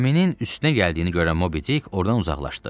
Gəminin üstünə gəldiyini görən Mobi Dik ordan uzaqlaşdı.